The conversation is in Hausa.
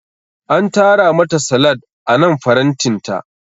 An tara mata salad anan farantinta.